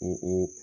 O o